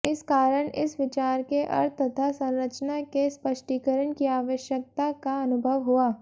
इस कारण इस विचार के अर्थ तथा संरचना के स्पष्टीकरण की आवश्यकता का अनुभव हुआ